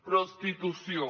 prostitució